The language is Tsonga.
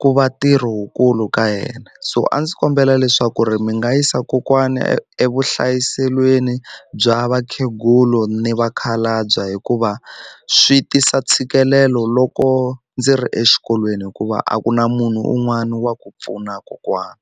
ku va tirhi wukulu ka yena so a ndzi kombela leswaku ri mi nga yisa kokwana evuhlayiselweni bya vakhegula ni vakhalabya hikuva swi tisa ntshikelelo loko ndzi ri exikolweni hikuva a ku na munhu un'wana wa ku pfuna kokwana.